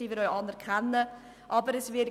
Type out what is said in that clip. Dies anerkennen wir auch.